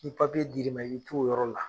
Ni dir'i ma i to, o yɔrɔ la.